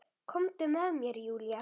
Komdu með mér Júlía.